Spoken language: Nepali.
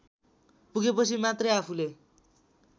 पुगेपछि मात्रै आफूले